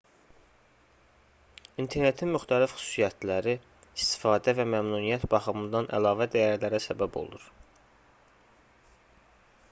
i̇nternetin müxtəlif xüsusiyyətləri istifadə və məmnuniyyət baxımından əlavə dəyərlərə səbəb olur